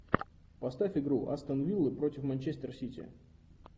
поставь игру астон вилла против манчестер сити